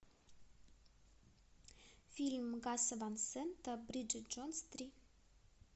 фильм гаса ван сента бриджит джонс три